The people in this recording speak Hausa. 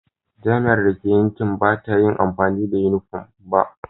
Jami'ar da ke yankina ba ta yi amfani da yunifom ba.